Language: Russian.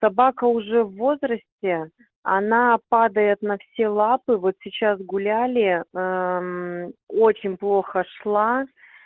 собака уже в возрасте она падает на все лапы вот сейчас гуляли очень плохо шла